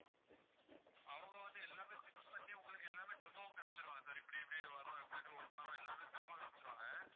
அவங்க வந்து எல்லாமே fix பண்ணி உங்களுக்கு எல்லாமே demo வும் காமிச்சிடுவாங்க sir இப்படி இப்படி வரும் இப்படி இப்படி open ஆகும் எல்லாமே demo காமிச்சிடுவாங்க